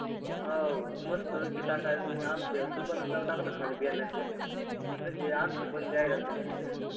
आ हो मस्तपैकी टाका आमच्या दुकानाचं नाव टाकलं ना खाली कशी आहे आमची पण जाहिरात होईल ना